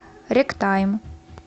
ректайм